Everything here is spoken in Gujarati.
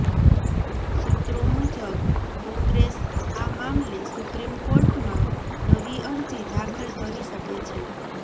સૂત્રો મુજબ કોંગ્રેસ આ મામલે સુપ્રીમ કોર્ટમાં નવી અરજી દાખલ કરી શકે છે